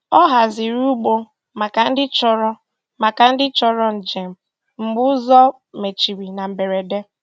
Ọ hazìrì̀ ụgbọ̀ maka ndị chọrọ̀ maka ndị chọrọ̀ njem mgbe ụzọ mechirì na mberede.